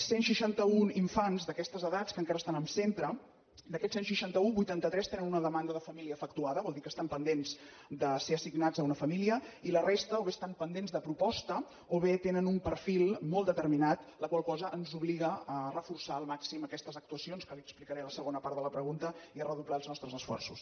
cent seixantaun infants d’aquestes edats que encara estan en centre d’aquests cent i seixanta un vuitanta tres tenen una demanda de família efectuada vol dir que estan pendents de ser assignats a una família i la resta o bé estan pendents de proposta o bé tenen un perfil molt determinat la qual cosa ens obliga a reforçar al màxim aquestes actuacions que li ho explicaré a la segona part de la pregunta i a redoblar els nostres esforços